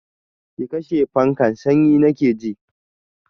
Ki kashe fankan, sanyi nake ji!